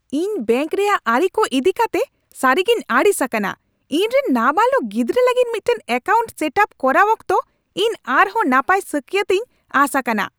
ᱤᱧ ᱵᱮᱝᱠ ᱨᱮᱭᱟᱜ ᱟᱹᱨᱤ ᱠᱚ ᱤᱫᱤ ᱠᱟᱛᱮ ᱥᱟᱹᱨᱤᱜᱤᱧ ᱟᱹᱲᱤᱥ ᱟᱠᱟᱱᱟ ᱾ ᱤᱧᱨᱮᱱ ᱱᱟᱵᱟᱞᱚᱠ ᱜᱤᱫᱽᱨᱟᱹ ᱞᱟᱹᱜᱤᱫ ᱢᱤᱫᱴᱟᱝ ᱮᱠᱟᱣᱩᱱᱴ ᱥᱮᱴᱼᱟᱯ ᱠᱚᱨᱟᱣ ᱚᱠᱛᱚ ᱤᱧ ᱟᱨᱦᱚᱸ ᱱᱟᱯᱟᱭ ᱥᱟᱹᱠᱭᱟᱹᱛ ᱤᱧ ᱟᱸᱥ ᱟᱠᱟᱱᱟ ᱾